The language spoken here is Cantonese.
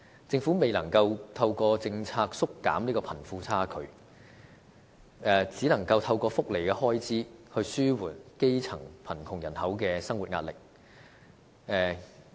政府未能透過政策縮減貧富差距，便只能透過福利開支來紓緩基層貧窮人口的生活壓力。